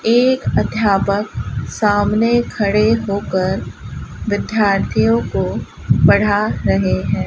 एक अध्यापक सामने खड़े होकर विद्यार्थियों को पढ़ा रहे हैं।